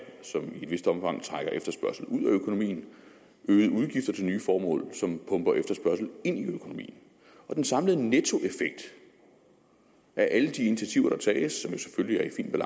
som i et vist omfang trækker efterspørgslen ud af økonomien og øgede udgifter til nye formål som pumper efterspørgsel ind i økonomien den samlede nettoeffekt af alle de initiativer der tages